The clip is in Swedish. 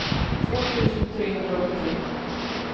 två tusen trehundraåttiotre